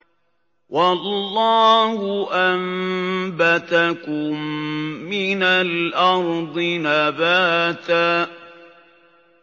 وَاللَّهُ أَنبَتَكُم مِّنَ الْأَرْضِ نَبَاتًا